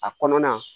A kɔnɔna